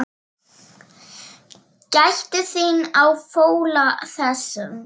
Gættu þín á fóla þessum.